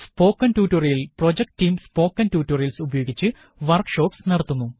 spoken tutorial project team spoken tutorials ഉപയോഗിച്ച് workshops നടത്തുന്നു